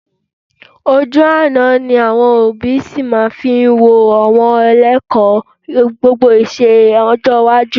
Ojú àná ni àwọn òbí sì máa fi wo àwọn Ilé-ẹ̀kọ́ gbogbonìṣe lọ́jọ́ iwájú